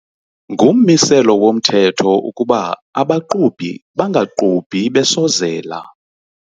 Ngummiselo womthetho ukuba abaqhubi bangaqhubi besozela.